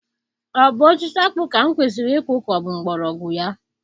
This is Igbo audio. Ọ bụ osisi akpu ka m kwesiri ịkụ ka ọ bụ mgbmọrọgwụ ya?